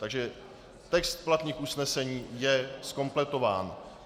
Takže text platných usnesení je zkompletován.